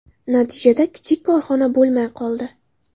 Natijada kichik korxona bo‘lmay qoldi.